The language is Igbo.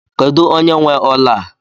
Kedụ onye nwe ọla a?